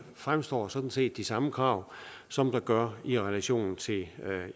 fremstår sådan set de samme krav som der gør i relation til